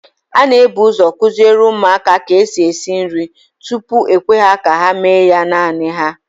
A n'ebuzo kụziere ụmụaka ka esi esi nri, tupu e kwee ka ha mee ya naanị ha